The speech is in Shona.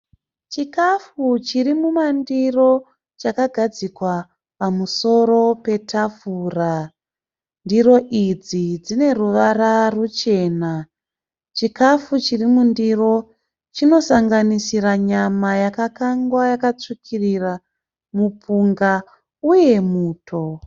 Chikafu chiri mumandiro chakagadzikwa pamusoro petafura. Ndiro idzi dzine ruvara ruchena. Chikafu chiri mundiro chinosanganisira nyama yakakangwa yakatsvukirira, mupunga uye muto.